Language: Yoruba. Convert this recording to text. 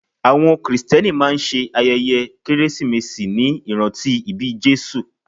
Àwọn krìstẹ́nì máa ṣe ayẹyẹ kérésìmesì ní ìrántí ìbí Jésù.